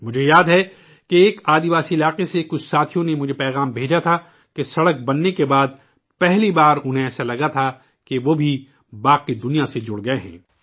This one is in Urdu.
مجھے یاد ہے ایک قبائلی علاقے سے کچھ ساتھیوں نے مجھے پیغام بھیجا تھا کہ سڑک بننے کے بعد پہلی بار انہیں ایسا لگا کہ وہ بھی باقی دنیا سے جڑ گئے ہیں